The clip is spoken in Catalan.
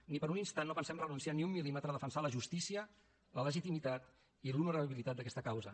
ni per un instant no pensem renunciar ni un mil·límetre a defensar la justícia la legitimitat i l’honorabilitat d’aquesta causa